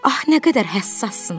Ah nə qədər həssasız?